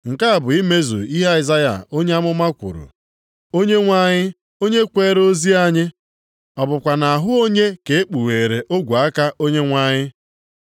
Nke a bụ imezu ihe Aịzaya onye amụma kwuru, “Onyenwe anyị, onye kweere ozi anyị ọ bụkwa nʼahụ onye ka e kpugheere ogwe aka Onyenwe anyị?” + 12:38 \+xt Aịz 53:1\+xt*